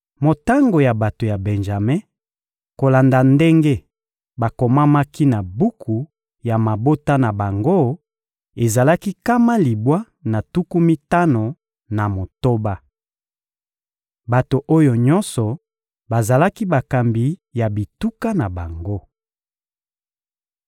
Motango ya bato ya Benjame kolanda ndenge bakomamaki na buku ya mabota na bango, ezalaki nkama libwa na tuku mitano na motoba. Bato oyo nyonso bazalaki bakambi ya bituka na bango.